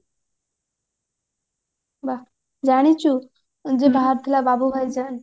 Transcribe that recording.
ବା ଜାଣିଛୁ ଯୋଉ ବାହାରିଥିଲା ବାବୁ ଭାଇଜାନ